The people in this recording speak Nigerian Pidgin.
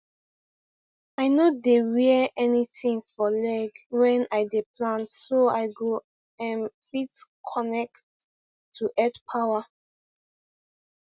i no dey wear anything for leg when i dey plant so i go um fit connect to earth power